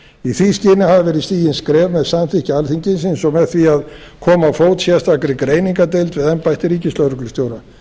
í því skyni hafa verið stigin skref með samþykki alþingis eins og með því að koma á fót sérstakri greiningardeild við embætti ríkislögreglustjóra